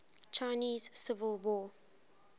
chinese civil war